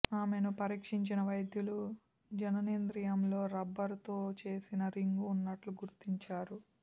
ఆమెను పరీక్షించిన వైద్యులు జననేంద్రియంలో రబ్బరుతో చేసిన రింగు ఉన్నట్లు గుర్తించారు